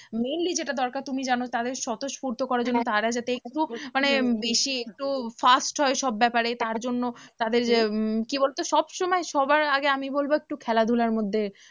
mainly যেটা দরকার তুমি জানো তাদের স্বতঃস্ফূর্ত করার জন্য তারা যাতে একটু মানে বেশি একটু first হয় সব ব্যাপারে তার জন্য তাদের আহ কি বলো তো সব সময় সবার আগে আমি বলবো একটু খেলাধুলার মধ্যে